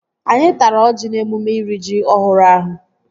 Anyị tara ọjị n'emume iri ji ọhụrụ ahụ